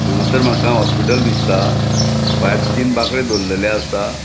हांगासर मका हॉस्पिटल दिसता भायर तीन बाकडे दोरलेले असा.